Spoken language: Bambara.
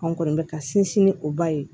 An kɔni bɛ ka sinsin ni o ba ye